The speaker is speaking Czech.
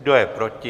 Kdo je proti?